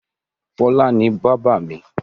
Fọlá ni bábà mi.